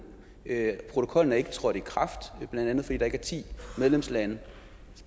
ikke protokollen er ikke trådt i kraft blandt andet fordi der er ti medlemslande